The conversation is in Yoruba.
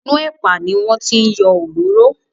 Inú ẹ̀pà ni wọ́n ti yọ òróró.